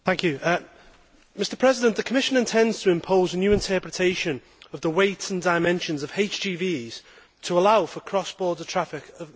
Mr President, the Commission intends to impose a new interpretation of the weight and dimensions of HGVs to allow for cross border traffic of mega trucks.